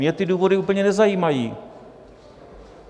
Mě ty důvody úplně nezajímají.